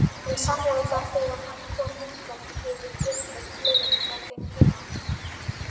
Hann sannaði það þegar hann kom hingað, hann hefur gerbreytt liðinu frá þeim tíma.